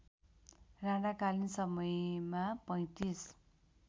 राणाकालीन समयमा ३५